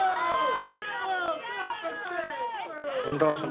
ஒன்றரை வருஷமா?